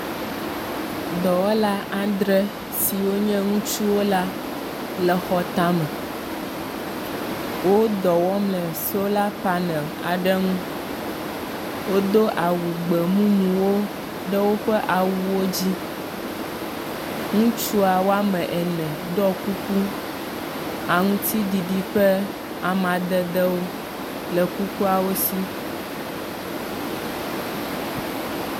Dɔwɔla adre siwo nye ŋutsuwo la le xɔ tame. Wo dɔ wɔm le sola panel aɖe ŋu. Wodo awu gbemumuwo ɖe woƒe awuwo dzi. Ŋutsua wo ame ene ɖɔ kuku aŋutiɖiɖi ƒe amadedewo le kukuawo si.